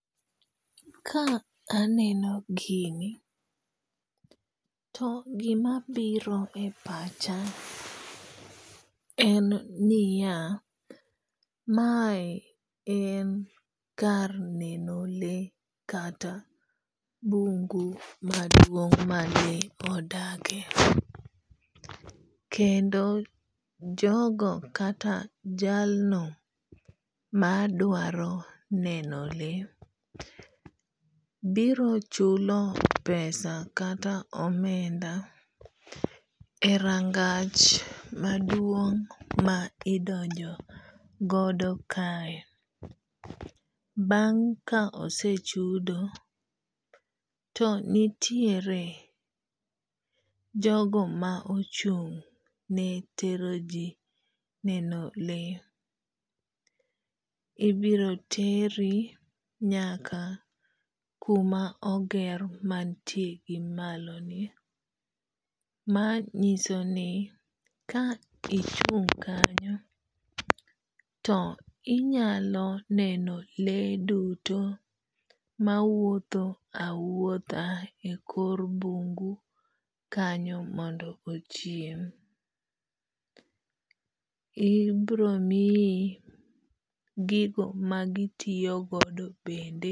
Ka aneno gini to gima biro e pacha en niya, mae en kar neno le kata bungu maduong' ma le odake. Kendo jogo kata jalno madwaro neno le biro chulo pesa kata omenda e rangach maduong' ma idonjo godo kae. Bang' ka osechudo to nitiere jogo ma ochung' ne tero ji neno le. Ibiro teri nyaka kuma oger mantie gi malo ni. Ma nyiso ni ka ichung' kanyo to inyalo neno le duto mawuotho awuotha e kor bungu kanyo mondo ochiem. Ibiro miyi gigo magitiyogodo bende.